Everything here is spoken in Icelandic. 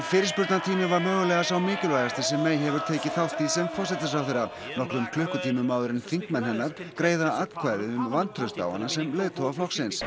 fyrirspurnatími var mögulega sá mikilvægasti sem May hefur tekið þátt í sem forsætisráðherra nokkrum klukkutímum áður en þingmenn hennar greiða atkvæði um vantraust á hana sem leiðtoga flokksins